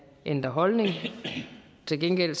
ændrer holdning til gengæld